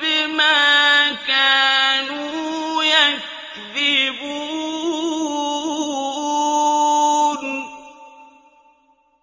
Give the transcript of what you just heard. بِمَا كَانُوا يَكْذِبُونَ